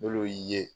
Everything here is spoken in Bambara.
N'olu y'i ye